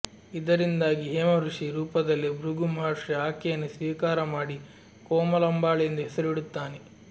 ಇದರಿಂದಾಗಿ ಹೇಮಋಷಿ ರೂಪದಲ್ಲಿ ಭೃಗು ಮಹರ್ಷಿ ಆಕೆಯನ್ನು ಸ್ವೀಕರ ಮಾಡಿ ಕೋಮಲಾಂಬಾಳ್ ಎಂದು ಹೆಸರು ಇಡುತ್ತಾನೆ